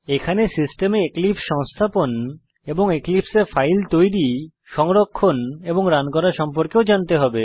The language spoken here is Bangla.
এখানে সিস্টেমে এক্লিপসে সংস্থাপন এবং এক্লিপসে এ ফাইল তৈরী সংরক্ষণ এবং রান করা সম্পর্কেও জানতে হবে